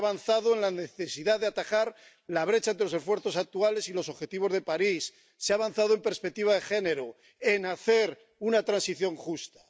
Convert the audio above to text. Se ha avanzado en la necesidad de atajar la brecha entre los esfuerzos actuales y los objetivos de París, se ha avanzado en perspectiva de género, en hacer una transición justa.